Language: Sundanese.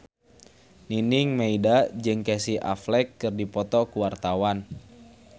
Nining Meida jeung Casey Affleck keur dipoto ku wartawan